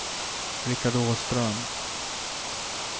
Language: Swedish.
Richard Åström